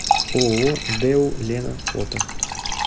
ооо дэу лена фото